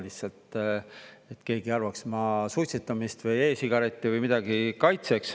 Lihtsalt et keegi ei arvaks, et ma suitsetamist või e-sigarette või midagi kaitseks.